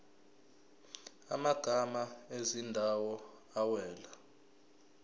amagama ezindawo awela